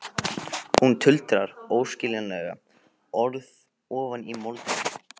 Hún tuldrar óskiljanleg orð ofan í moldina.